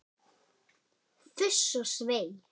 Fuss og svei!